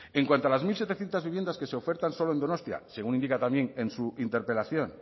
en cuanto a las mil setecientos viviendas que se ofertan solo en donostia según indica también en su interpelación